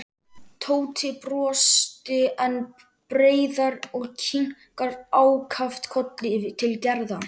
Tóti brosti enn breiðar og kinkaði ákaft kolli til Gerðar.